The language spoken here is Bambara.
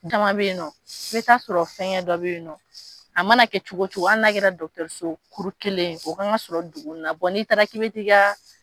Jama bɛ yen nɔn i bɛ taa sɔrɔ fɛn dɔ bɛ yen nɔ, a mana kɛ cogo cogo hali n'a kɛra dɔgɔtɔrɔso kuru kelen o k'an ka sɔrɔ dugu na, n'i taara ki bɛ ti ka.